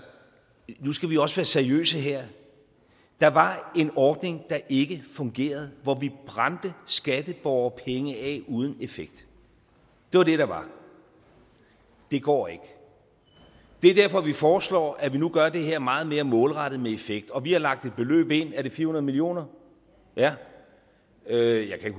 nu skal vi også været seriøse her der var en ordning der ikke fungerede hvor vi brændte skatteborgerpenge af uden effekt det var det der var det går ikke det er derfor vi foreslår at vi nu gør det her meget mere målrettet med effekt og vi har lagt et beløb ind er det fire hundrede millioner ja jeg kan